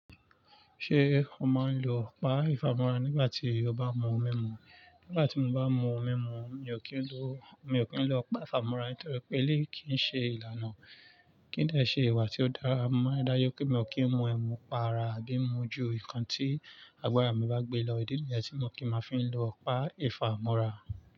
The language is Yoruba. Ṣé o máa ń lo ọ̀pá ìfámọ́ra nígbà tí o bá mú ẹ̀mú? Nígbà tí mo bá mú ohun mimú, mi ò kí ń lo, mi ò kí ń lo ọ̀pá ìfámọ́ra nítorí pé eleyii kí ń ṣe ìlànà kí n lè ṣe ìwà tí ó dára mọ́. Ó dá yé pé mí ó kí ń mú ẹ̀mú pa ara àbí mú ju nǹkan tí àgbára mi bá gbé lọ. Ídì nìyẹn tí mo kì máa fi ń lo ọ̀pá ìfámọ́ra.